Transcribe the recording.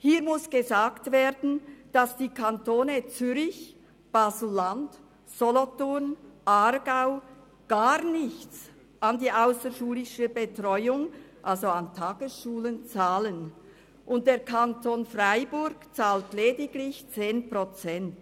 Dazu muss gesagt werden, dass die Kantone Zürich, Baselland, Solothurn und Aargau gar nichts an die ausserschulische Betreuung, also an Tagesschulen, zahlen, und der Kanton Freiburg zahlt lediglich 10 Prozent.